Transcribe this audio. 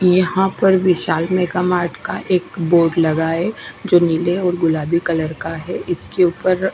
यहां पर विशाल मेगामार्ट का एक बोर्ड लगा है जो नीले और गुलाबी कलर का है इसके ऊपर--